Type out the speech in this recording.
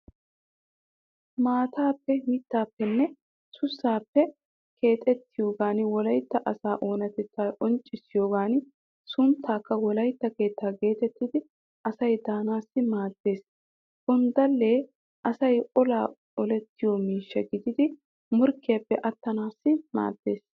Maataappe mittaappenne sussaappe keexettiyogan wolaytta asa oonatettaa qonccissiyogan sunttaykka wolaytta keetta geetettidi asay daanaassi maaddeees. Gonddallee asay olaa olettiyo miishsha gididi morkkiyaappe attanaassi maaddeees.